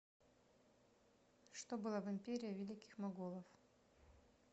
что было в империя великих моголов